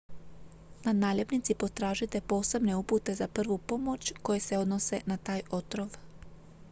na naljepnici potražite posebne upute za prvu pomoć koje se odnose na taj otrov